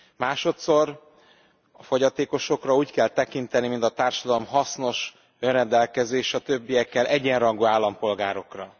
Másodszor a fogyatékosokra úgy kell tekinteni, mint a társadalom hasznos, önrendelkező és a többiekkel egyenrangú állampolgárokra.